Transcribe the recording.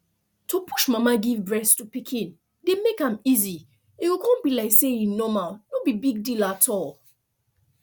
to push mama give breast to pikin dey make am easy e go con be like say e normal no big deal at all